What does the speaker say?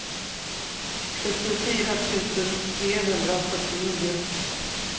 sjuttiofyra tusen trehundrafyrtionio